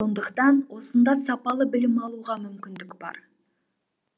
сондықтан осында сапалы білім алуға мүмкіндік бар